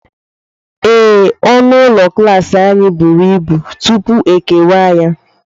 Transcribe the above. Ee, ọnụ ụlọ klas anyị buru ibu, tupu e kewaa ya.